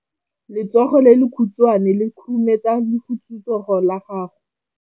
Letsogo le lekhutshwane le khurumetsa lesufutsogo la gago.